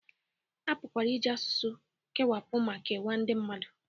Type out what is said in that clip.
A pụkwara iji asụsụ kewapụ ma kewaa ndị mmadụ